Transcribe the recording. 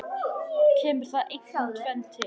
Kemur þar einkum tvennt til.